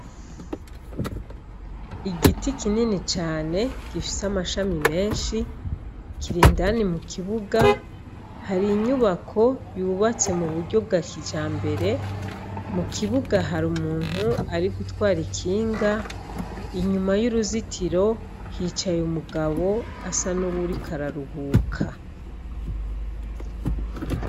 Igiti kinini cane gifise amashami menshi kiri indani mu kibuga, hari inyubako yubatse mu buryo bwa kijambere, mu kibuga hari umuntu ari gutwara ikinga, inyuma y'uruzitiro hicaye umugabo asa n'uwuriko araruhuka.